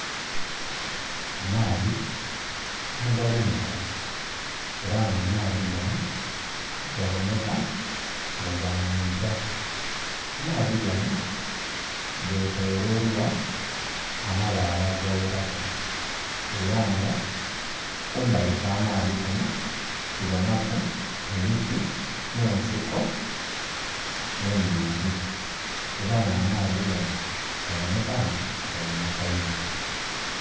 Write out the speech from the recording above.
Amaadhi agalumuka era nga amaadhi gano gaboneka nga ga mwiga, amaadhi gano getoloilwa amabaale agaweraku era nga kumbali kw'amaadhi kuno tubonaku emiti n'ensiko ennhingi era nga amaadhi gano gaboneka nti galumuka inho.